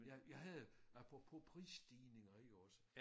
Jeg jeg havde apropos prisstigninger jo også